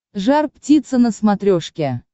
жар птица на смотрешке